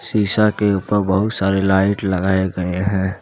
शीशा के ऊपर बहुत सारे लाइट लगाए गए हैं।